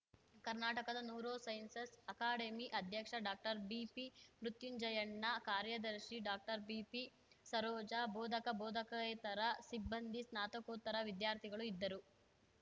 ಕರ್ನಾಟಕದ neurosciences academy ಅಧ್ಯಕ್ಷ ಡಾಕ್ಟರ್ಬಿಪಿಮೃತ್ಯುಂಜಯಣ್ಣ ಕಾರ್ಯದರ್ಶಿ ಡಾಕ್ಟರ್ಬಿಪಿಸರೋಜ ಬೋಧಕಬೋಧಕೇತರ ಸಿಬ್ಬಂದಿ ಸ್ನಾತಕೋತ್ತರ ವಿದ್ಯಾರ್ಥಿಗಳು ಇದ್ದರು